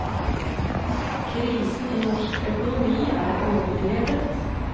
Krisen i norsk økonomi er overdrevet.